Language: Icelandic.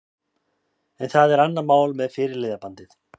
En það er annað mál með fyrirliðabandið.